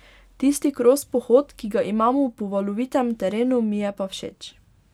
Tisti kros pohod, ki ga imamo po valovitem terenu, mi je pa všeč.